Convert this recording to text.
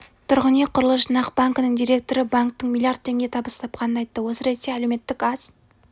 тұрғын үй құрылыс жинақ банкінің директоры банктің млрд теңге табыс тапқанын айтты осы ретте әлеуметтік аз